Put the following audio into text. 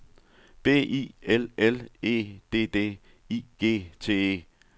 B I L L E D D I G T E